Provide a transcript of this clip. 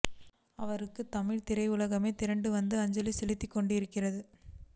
அவருக்கு தமிழ்த் திரையுலகமே திரண்டு வந்து அஞ்சலி செலுத்திக் கொண்டிருக்கிறது